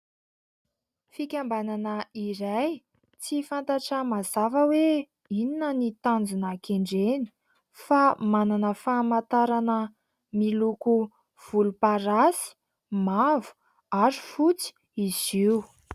Fikambanana iray tsy fantatra mazava hoe inona ny tanjona kendreny fa manana famantarana miloko volomparasy mavo ary fotsy izy io.